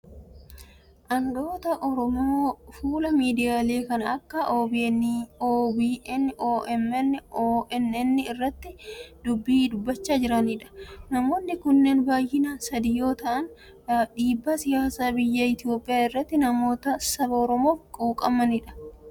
Aangaa'ota Oromoo fuula miidiyaalee kan akka OMN, OBN fi ONN irratti dubbii dubbachaa jiranidha. Namoonni kun baay'inaan sadii yoo ta'an, dhiibbaa siyaasa biyya Itoophiyaa irratti namoota saba Oromoof quuqamani dha.